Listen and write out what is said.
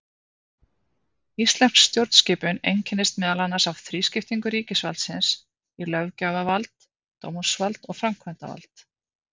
Íslensk stjórnskipun einkennist meðal annars af þrískiptingu ríkisvaldsins í löggjafarvald, dómsvald og framkvæmdavald.